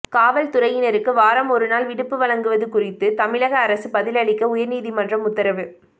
காவல்துறையினருக்கு வாரம் ஒரு நாள் விடுப்பு வழங்குவது குறித்து தமிழக அரசு பதில் அளிக்க உயர்நீதிமன்றம் உத்தரவு